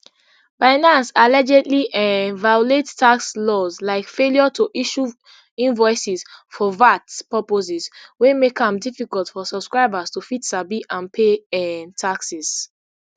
binance allegedly um violate tax laws like failure to issue invoices for vat purposes wey make am difficult for subscribers to fit sabi and pay um taxes